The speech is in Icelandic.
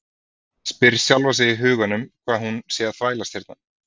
Spyr sjálfa sig í huganum hvað hún sé að þvælast hérna.